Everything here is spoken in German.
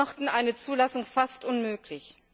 sie machten eine Zulassung fast unmöglich.